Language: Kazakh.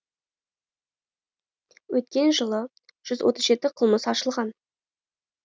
өткен жылы жүз отыз жеті қылмыс ашылған